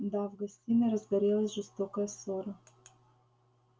да в гостиной разгорелась жестокая ссора